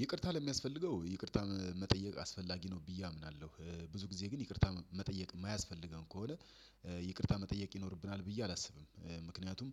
ይቅርታ ለሚያስፈልገው ይቅርታ መጠየቅ አስፈላጊ ነው ብዬ አምናለሁ ብዙ ጊዜ ግን ይቅርታ መጠየቅ ማያስፈልገን ከሆነ ይቅርታ መጠየቅ ይኖርብናል ብዬ አላስብም። ምክንያቱም